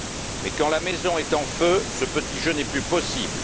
Mais quand la maison est en feu, ce petit jeu n'est plus possible.